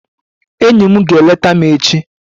Enyi m ga-eleta m echi